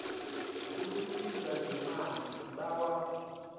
ukusizwa ngemali sibawa